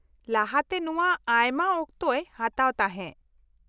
-ᱞᱟᱦᱟᱛᱮ ᱱᱚᱶᱟ ᱟᱭᱢᱟ ᱚᱠᱛᱚ ᱦᱟᱛᱟᱣ ᱛᱟᱦᱮᱸ ᱾